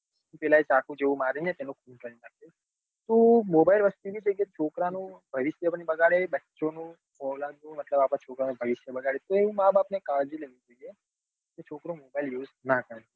પેલા એ ચાકુ જેવું મારી ને એનું ખૂન કરી નાખ્યું તો mobile વસ્તુ એવી છે કે છોકરા નું ભવિષ્ય પણ બગાડે બચ્ચો નું અઔલદ નું મતલબ અપડા છોકરાનું ભવિષ્ય બગાડે તો એ માં બાપ ને કાળજી લેવી પડે કે છોકરો mobile use નાં કરે